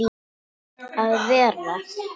að vera.